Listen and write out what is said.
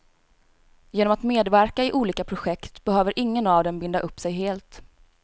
Genom att medverka i olika projekt behöver ingen av dem binda upp sig helt.